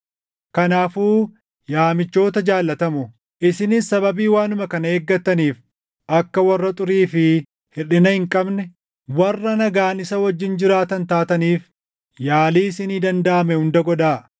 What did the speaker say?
Kanaafuu yaa michoota jaallatamoo, isinis sababii waanuma kana eeggataniif akka warra xurii fi hirʼina hin qabne, warra nagaan isa wajjin jiraatan taataniif yaalii isinii dandaʼame hunda godhaa.